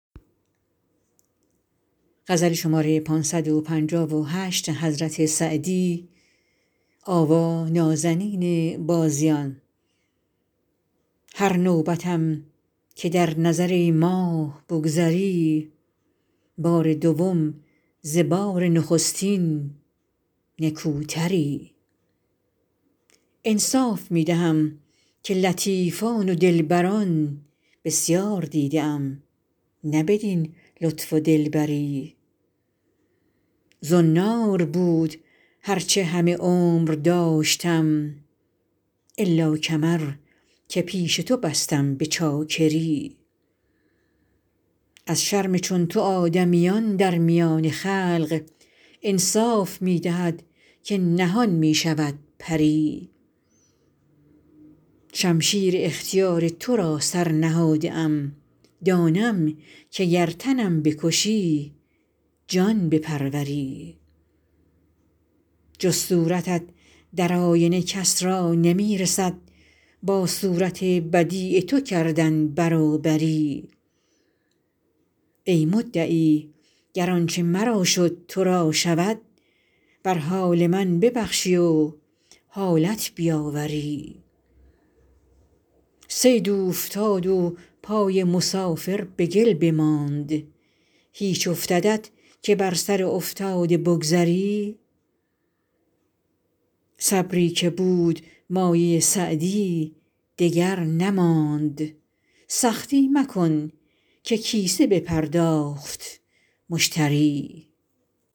هر نوبتم که در نظر ای ماه بگذری بار دوم ز بار نخستین نکوتری انصاف می دهم که لطیفان و دلبران بسیار دیده ام نه بدین لطف و دلبری زنار بود هر چه همه عمر داشتم الا کمر که پیش تو بستم به چاکری از شرم چون تو آدمیان در میان خلق انصاف می دهد که نهان می شود پری شمشیر اختیار تو را سر نهاده ام دانم که گر تنم بکشی جان بپروری جز صورتت در آینه کس را نمی رسد با صورت بدیع تو کردن برابری ای مدعی گر آنچه مرا شد تو را شود بر حال من ببخشی و حالت بیاوری صید اوفتاد و پای مسافر به گل بماند هیچ افتدت که بر سر افتاده بگذری صبری که بود مایه سعدی دگر نماند سختی مکن که کیسه بپرداخت مشتری